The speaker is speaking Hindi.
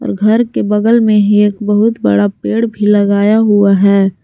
और घर के बगल में ही एक बहुत बड़ा पेड़ भी लगाया हुआ है।